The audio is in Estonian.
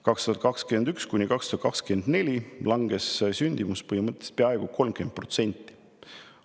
2021–2024 langes sündimus peaaegu 30%.